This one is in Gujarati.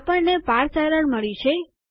આપણને પાર્સ એરર મળી છે